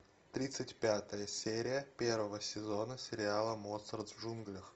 тридцать пятая серия первого сезона сериала моцарт в джунглях